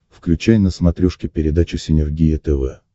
включай на смотрешке передачу синергия тв